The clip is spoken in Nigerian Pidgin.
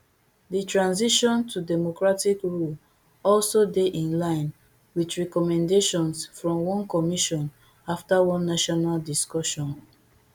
di transition to democratic rule also dey in line wit recommendations from one commission afta one national discussion